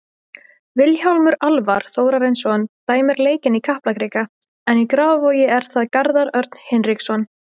Vilhjálmur Alvar Þórarinsson dæmir leikinn í Kaplakrika en í Grafarvogi er það Garðar Örn Hinriksson.